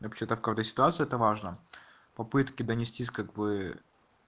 вообще то в какой то ситуации это важно попытки донестись как бы